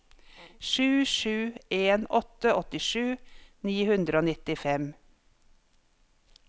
sju sju en åtte åttisju ni hundre og nittifem